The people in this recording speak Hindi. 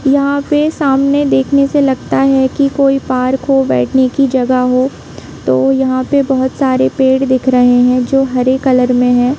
यहाँ पे सामने देखने से लगता है कि कोई पार्क हो बैठने की जगह हो तो यहाँ पे बहुत सरे पेड़ है दिख रही है जो हरे कलर में है।